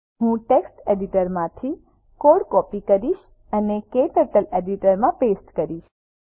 હું ટેક્સ્ટ એડિટરમાંથી code copy કરીશ અને ક્ટર્ટલ એડિટરમાં પેસ્ટ કરીશ